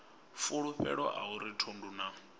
fulufhelo a uri thundu na